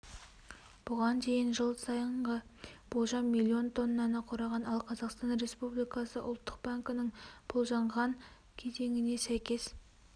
бұған дейін жыл сайынғы болжам миллион тоннаны құраған ал қазақстан республикасы ұлттық банкінің болжанған кезеңіне сәйкес